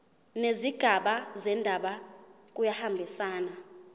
nezigaba zendaba kuyahambisana